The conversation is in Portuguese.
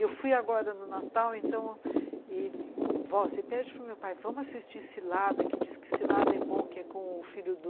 Eu fui agora no Natal, então você pede para meu pai, vamos assistir Cilada, que diz que Cilada é bom, que é com o filho do...